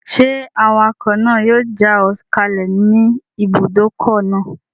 Ṣé awakọ̀ náà yóò já ọ kalẹ̀ ní ibùdókọ̀ náà?